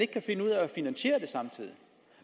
finansiere det samtidig